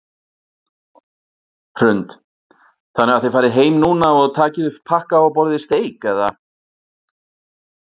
Hrund: Þannig að þið farið heim núna og takið upp pakka og borðið steik eða?